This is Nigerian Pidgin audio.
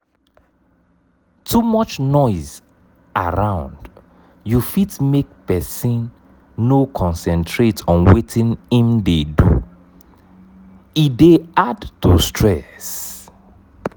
too much noise around you fit make person no concentrate on wetin im dey do e dey add to stress